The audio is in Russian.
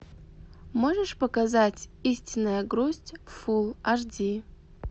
можешь показать истинная грусть фул аш ди